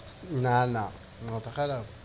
না না। মাথা খারাপ?